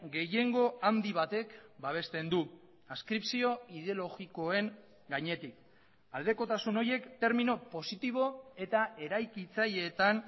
gehiengo handi batek babesten du adskripzio ideologikoen gainetik aldekotasun horiek termino positibo eta eraikitzaileetan